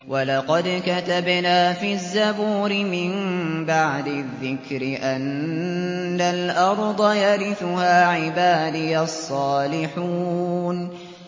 وَلَقَدْ كَتَبْنَا فِي الزَّبُورِ مِن بَعْدِ الذِّكْرِ أَنَّ الْأَرْضَ يَرِثُهَا عِبَادِيَ الصَّالِحُونَ